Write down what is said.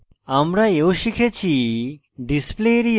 আমরা we শিখেছি